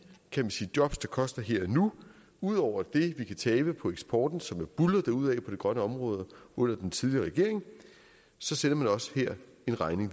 jobs det koster her og nu ud over det vi kan tabe på eksporten som jo buldrede derudad på det grønne område under den tidligere regering sender man også her en regning